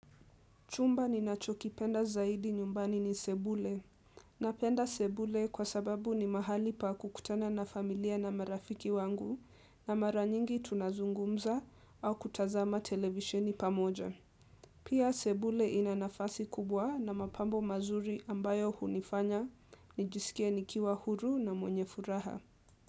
Chumba ninachokipenda zaidi nyumbani ni sebule. Napenda sebule kwa sababu ni mahali pa kukutana na familia na marafiki wangu na mara nyingi tunazungumza au kutazama televisheni pamoja. Pia sebule ina nafasi kubwa na mapambo mazuri ambayo hunifanya, nijisikie nikiwa huru na mwenye furaha.